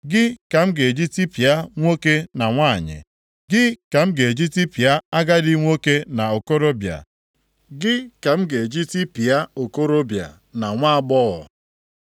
gị ka m ga-eji tipịa nwoke na nwanyị, gị ka m ga-eji tipịa agadi nwoke na okorobịa, gị ka m ga-eji tipịa okorobịa na nwaagbọghọ,